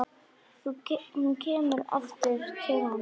Hún kemur aftur til hans.